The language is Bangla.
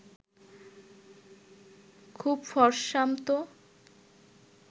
খুব ফরসামতো